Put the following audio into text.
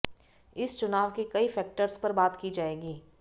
इस चुनाव के कई फैक्टर्स पर बात की जाएगी